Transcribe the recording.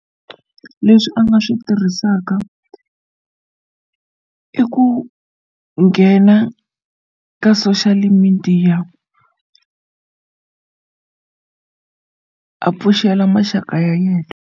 Leswi a nga swi tirhisaka i ku nghena ka social media a pfuxela maxaka ya yena.